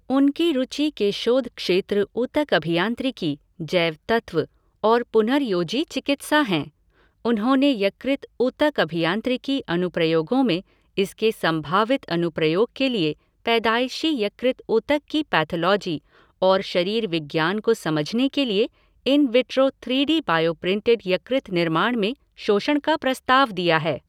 उनकी रुचि के शोध क्षेत्र ऊतक अभियांत्रिकी, जैव तत्त्व, और पुनर्योजी चिकित्सा हैंI उन्होंने यकृत ऊतक अभियांत्रिकी अनुप्रयोगों में इसके संभावित अनुप्रयोग के लिए पैदाइशी यकृत ऊतक की पैथोलॉजी और शरीर विज्ञान को समझने के लिए इन विट्रो थ्रीडी बायोप्रिंटेड यकृत निर्माण में शोषण का प्रस्ताव दिया है।